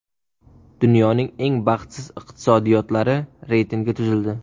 Dunyoning eng baxtsiz iqtisodiyotlari reytingi tuzildi.